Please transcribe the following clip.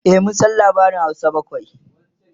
e mun San labarin Hausa bakwai